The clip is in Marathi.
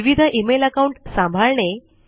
विविध इमेल अकाउंट सांभाळणे